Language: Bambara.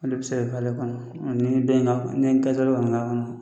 Ne de bɛ se ka kɛ ale kɔnɔ, ɔɔ ni se ina kɔni ne kɛ tɔ don ka nin k'a kɔnɔ.